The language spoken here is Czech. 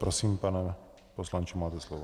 Prosím, pane poslanče, máte slovo.